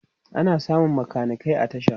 ana samun makanikai a tasha